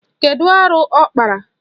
Kedu arụ ọ kpara?